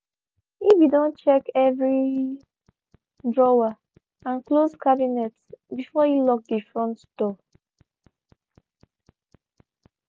he be don check every drawer and closed cabinet before e lock de front door.